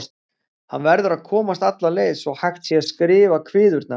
Hann verður að komast alla leið svo hægt sé að skrifa kviðurnar.